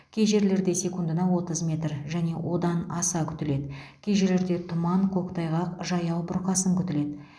кей жерлерде секундына отыз метр және одан аса күтіледі кей жерлерде тұман көктайғақ жаяу бұрқасын күтіледі